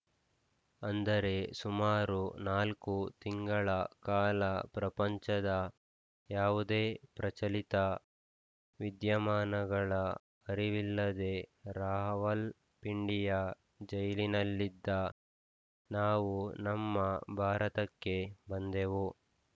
ಅಂದರೆ ಸುಮಾರು ನಾಲ್ಕು ತಿಂಗಳ ಕಾಲ ಪ್ರಪಂಚದ ಯಾವುದೇ ಪ್ರಚಲಿತ ವಿದ್ಯಮಾನಗಳ ಅರಿವಿಲ್ಲದೆ ರಾವಲ್‌ಪಿಂಡಿಯ ಜೈಲಿನಲ್ಲಿದ್ದ ನಾವು ನಮ್ಮ ಭಾರತಕ್ಕೆ ಬಂದೆವು